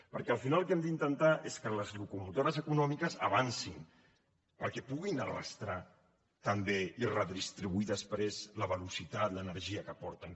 perquè al final el que hem d’intentar és que les locomotores econòmiques avancin perquè puguin arrossegar també i redistribuir després la velocitat l’energia que porten